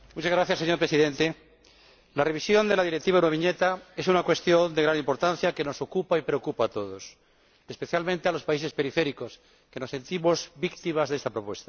Señor Presidente, la revisión de la Directiva sobre la Euroviñeta es una cuestión de gran importancia que nos ocupa y preocupa a todos, especialmente a los países periféricos, que nos sentimos víctimas de esta propuesta.